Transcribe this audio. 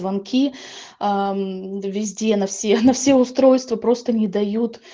звонки аа везде на все на все устройства просто не дают